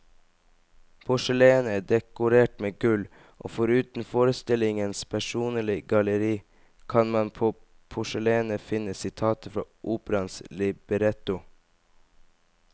Porselenet er dekorert med gull, og foruten forestillingens persongalleri kan man på porselenet finne sitater fra operaens libretto.